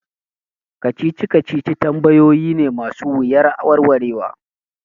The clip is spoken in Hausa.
Kacici kacici tambayoyi ne ma su wuyar warwarewa